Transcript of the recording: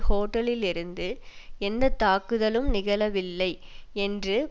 ஹோட்டலிலிருந்து எந்த தாக்குதலும் நிகழவில்லை என்று